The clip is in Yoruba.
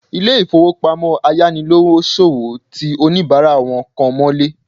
Ilé ìfowópamọ́ ayánilówóṣòwó ti oníbàárà wọn kan mọ́lé